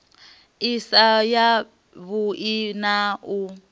i si yavhui na u